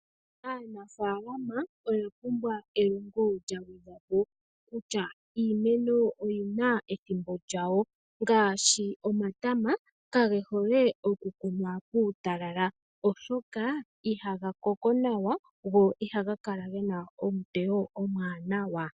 Aanafaalama oya pumbwa elongo lya gwedhwapo kutya iimeno oyina ethimbo lyayo ngaashi omatama kage hole okukunwa puutalala oshoka ihaga koko nawa ,go ihaga kala gena eteyo ewanawa.